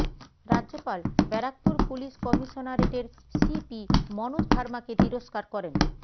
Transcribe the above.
রাজ্যপাল বারাকপুর পুলিশ কমিশনারেটের সিপি মনোজ ভার্মাকে তিরষ্কার করেন